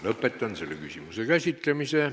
Lõpetan selle küsimuse käsitlemise.